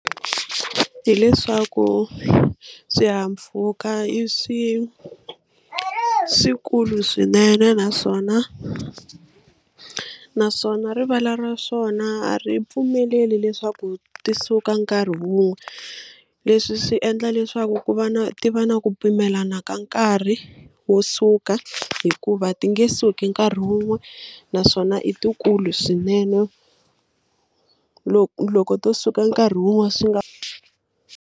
Hileswaku swihahampfhuka i swi swikulu swinene naswona naswona rivala ra swona a ri pfumeleli leswaku ti suka nkarhi wun'we leswi swi endla leswaku ku va na ti va na ku pimelana ka nkarhi wo suka hikuva ti nge suki nkarhi wun'we naswona i ti kulu swinene loko loko to suka nkarhi wun'wani swi nga.